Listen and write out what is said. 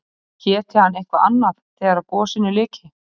Héti hann eitthvað annað þegar gosinu lyki?